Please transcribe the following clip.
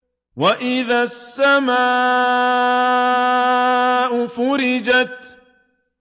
وَإِذَا السَّمَاءُ فُرِجَتْ